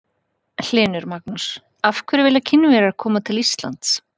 Magnús Hlynur: Af hverju vilja Kínverjar koma til Íslands?